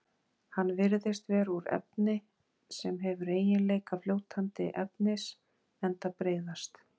Hann virðist vera úr efni sem hefur eiginleika fljótandi efnis enda breiðast